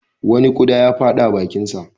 Wani ƙuda ya fada bakinta.